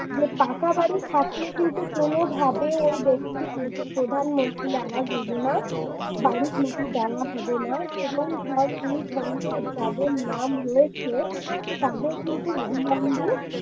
যে পাকা বাড়ি থাকলে কিন্তু কোনভাবে ওই ব্যক্তি কিন্তু প্রধানমন্ত্রীর আবাস যোজনা বাড়ির লোকের দেওয়া হবে না এবং ওই form যাদের নাম রয়েছে তবে তাদের কিন্তু অবিলম্বে